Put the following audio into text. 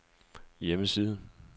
hjemmeside